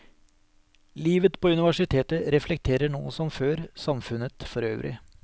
Livet på universitet reflekterer nå som før samfunnet forøvrig.